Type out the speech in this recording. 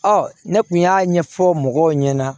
ne kun y'a ɲɛfɔ mɔgɔw ɲɛna